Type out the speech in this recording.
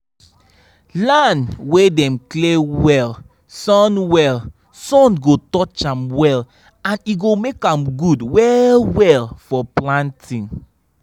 land wey dem clear well sun well sun go touch am well and e go make am good well well for planting